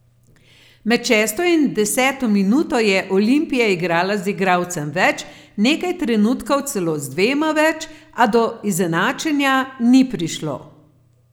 Med šesto in deseto minuto je Olimpija igrala z igralcem več, nekaj trenutkov celo z dvema več, a do izenačenja ni prišlo.